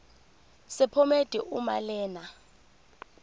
sephomedi uma lena